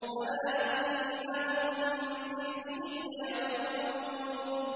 أَلَا إِنَّهُم مِّنْ إِفْكِهِمْ لَيَقُولُونَ